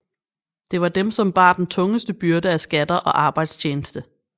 Det var dem som bar den tungeste byrde af skatter og arbejdstjeneste